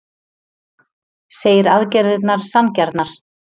Segir aðgerðirnar sanngjarnar